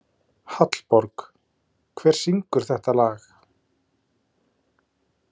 Hallborg, hver syngur þetta lag?